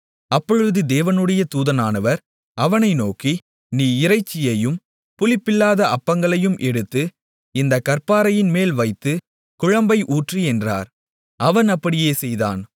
அப்பொழுது தேவனுடைய தூதனானவர் அவனை நோக்கி நீ இறைச்சியையும் புளிப்பில்லாத அப்பங்களையும் எடுத்து இந்தக் கற்பாறையின்மேல் வைத்து குழம்பை ஊற்று என்றார் அவன் அப்படியே செய்தான்